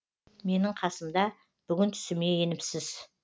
менің қасымда бүгін түсіме еніпсіз